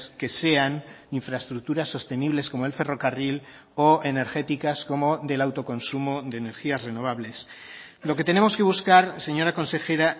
que sean infraestructuras sostenibles como el ferrocarril o energéticas como del autoconsumo de energías renovables lo que tenemos que buscar señora consejera